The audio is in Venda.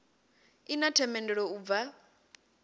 i na themendelo u bva